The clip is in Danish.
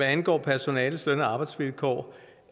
angår personalets løn og arbejdsvilkår